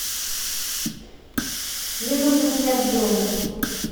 мне нужно снять бронь